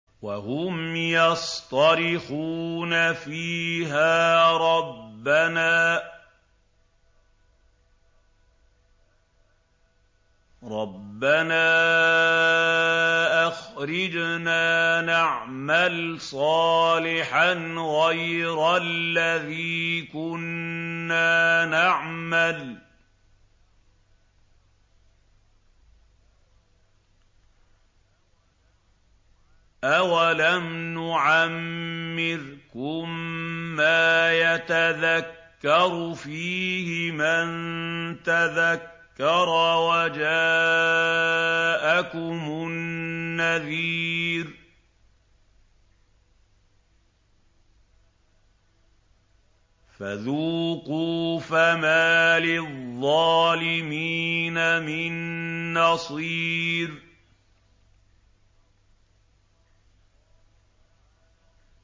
وَهُمْ يَصْطَرِخُونَ فِيهَا رَبَّنَا أَخْرِجْنَا نَعْمَلْ صَالِحًا غَيْرَ الَّذِي كُنَّا نَعْمَلُ ۚ أَوَلَمْ نُعَمِّرْكُم مَّا يَتَذَكَّرُ فِيهِ مَن تَذَكَّرَ وَجَاءَكُمُ النَّذِيرُ ۖ فَذُوقُوا فَمَا لِلظَّالِمِينَ مِن نَّصِيرٍ